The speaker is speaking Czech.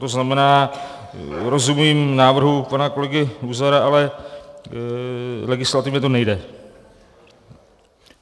To znamená, rozumím návrhu pana kolegy Luzara, ale legislativně to nejde.